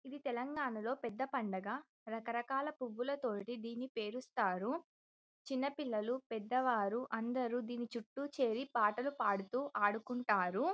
ఇది తెలంగాణాలో పెద్ద పండుగ రకరకాల పూలతోటి దిన్ని పేరుస్తారు చిన్న పిల్లలు పెద్ద వాళ్ళు అందరు దిన్ని చుట్టూ చేరి ఆటపాటలు పాడి ఆడుకుంటారు.